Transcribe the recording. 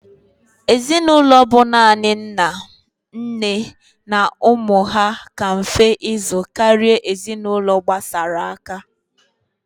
Ezinulo bu nani nna, nne na umu ha ka mfe ịzụ kara ezinulo gbasara aka.